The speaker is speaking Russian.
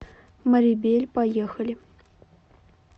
марибель поехали